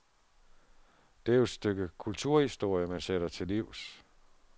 Det er jo et stykke kulturhistorie, man sætter til livs.